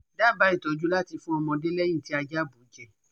Daba itọju lati fun ọmọde lẹhin ti aja bu jẹ